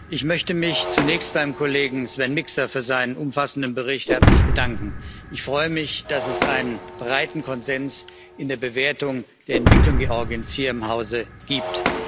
Ich möchte mich zunächst beim Kollegen Sven Mikser für seinen umfassenden Bericht herzlich bedanken. Ich freue mich, dass es einen breiten Konsens in der Bewertung der Entwicklung Georgiens hier im Hause gibt.